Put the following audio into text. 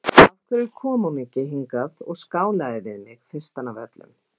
Af hverju kom hún ekki hingað og skálaði við mig, fyrstan af öllum?